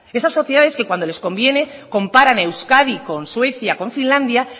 esas sociedades que cuando les conviene comparan euskadi con suecia con finlandia